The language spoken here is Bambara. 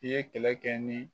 I ye kɛlɛ kɛ ni